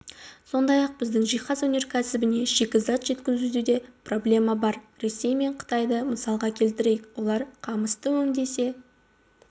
сондай-ақ біздің жиһаз өнеркәсібіне шикізат жеткізуде проблема бар ресей мен қытайды мысалға келтірейік олар қамысты өңдесе